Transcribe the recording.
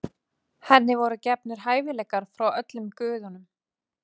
Henni voru gefnir hæfileikar frá öllum guðunum.